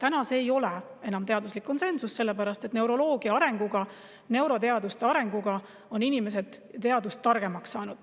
Aga täna ei ole enam teaduslik konsensus selline, sellepärast et neuroloogia ja neuroteaduste arenguga on inimesed targemaks saanud.